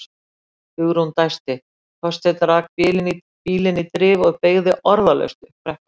Hugrún dæsti, Þorsteinn rak bílinn í drif og beygði orðalaust upp brekkuna.